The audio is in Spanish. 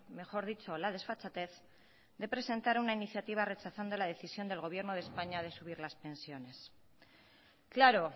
mejor dicho la desfachatez de presentar una iniciativa rechazando la decisión del gobierno de españa de subir las pensiones claro